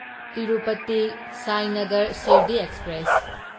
Tirupati Sainagar Shirdi express